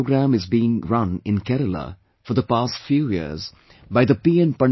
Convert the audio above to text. A very good programme is being run in Kerala for the past few years, by the P